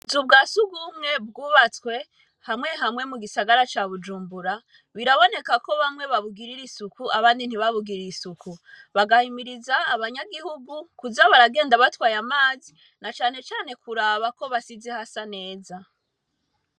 Zu ubwa si ugumwe bwubatswe hamwe hamwe mu gisagara ca bujumbura biraboneka ko bamwe babugirira isuku abandi ntibabugirire isuku bagahimiriza abanyagihugu kuza baragenda batwaye amazi na canecane kuraba ko basize hasa neza.